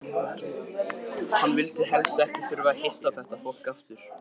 Hann vildi helst ekki þurfa að hitta þetta fólk aftur!